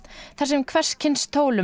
þar sem hvers kyns tólum